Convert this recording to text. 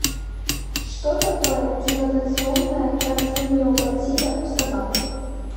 что такое дилатационная кардиомиопатия у собак